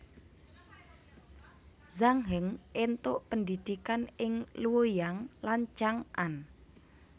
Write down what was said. Zhang Heng éntuk pendhidhikan ing Luoyang lan Chang an